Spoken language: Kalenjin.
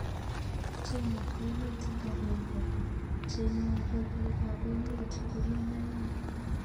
China ko emet eng agenge cheng man'ge pik ap emet kolyn aeng